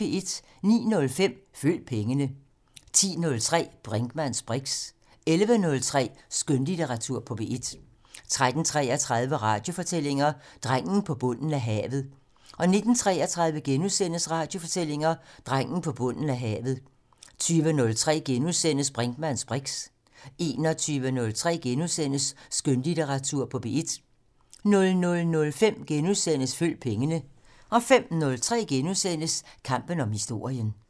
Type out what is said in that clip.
09:05: Følg pengene 10:03: Brinkmanns briks 11:03: Skønlitteratur på P1 13:33: Radiofortællinger - Drengen på bunden af havet 19:33: Radiofortællinger - Drengen på bunden af havet * 20:03: Brinkmanns briks * 21:03: Skønlitteratur på P1 * 00:05: Følg pengene * 05:03: Kampen om historien *